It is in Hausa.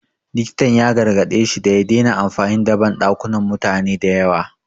Likitan ya gargaɗe shi da ya dena amfani da banɗakunan mutane da yawa